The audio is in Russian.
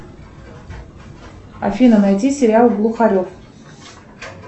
афина найди сериал глухарев